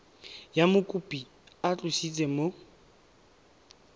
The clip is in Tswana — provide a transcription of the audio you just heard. fa mokopi a tlositswe mo